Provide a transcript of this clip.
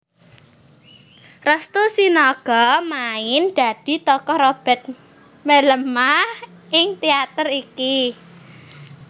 Restu Sinaga main dadi tokoh Robert Mellema ing teater iki